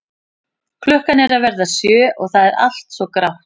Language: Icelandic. Klukkan er að verða sjö og það er allt svo grátt.